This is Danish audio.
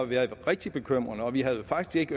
været rigtig bekymrende vi havde jo faktisk